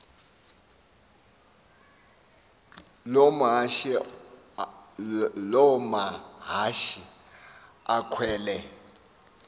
loo mahashe akhwele